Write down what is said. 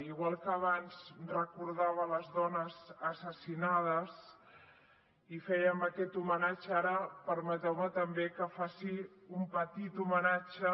igual que abans recordava les dones assassinades i fèiem aquest homenatge ara permeteu me també que faci un petit homenatge